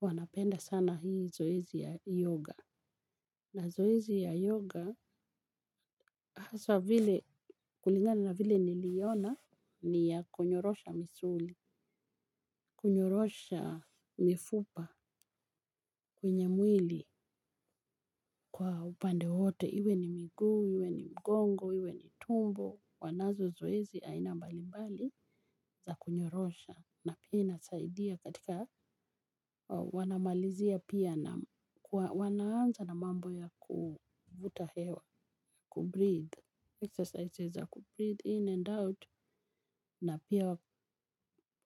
Wanapenda sana hii zoezi ya yoga. Na zoezi ya yoga haswa vile kulingani na vile niliiona ni ya kunyorosha misuli, kunyorosha mifupa, kwenye mwili kwa upande wote. Iwe ni miguu, iwe ni mgongo, iwe ni tumbo. Wanazo zoezi aina mbali mbali za kunyorosha. Na pia inasaidia katika, wanamalizia pia na wanaanza na mambo ya kuvuta hewa. Ku breath Exercises za ku breath in and out na pia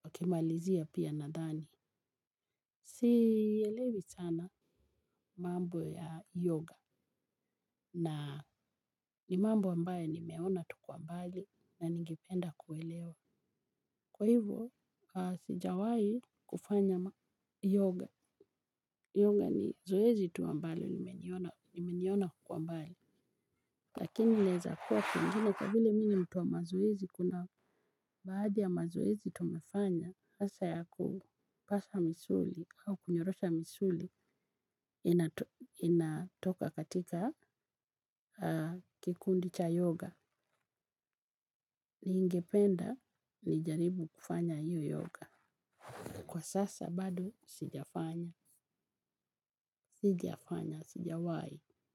wakimalizia pia na ndani. Sielewi sana mambo ya yoga na ni mambo ambayo nimeona tu kwa mbali na ningependa kuelewa. Kwa hivo sijawahi kufanya yoga. Yoga ni zoezi tu ambalo nimeliona kwa mbali. Lakini inaweza kuwa piengine kwa vile mimi ni mtu wa mazoezi kuna baadhi ya mazoezi tumefanya hasa ya kukaza misuli au kunyorosha misuli inatoka katika kikundi cha yoga. Ningependa ni jaribu kufanya hio yoga. Kwa sasa bado sijafanya, sijafanya, sijawahi.